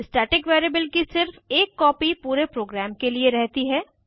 static variable की सिर्फ एक कॉपी पूरे प्रग्राम के लिए रहती है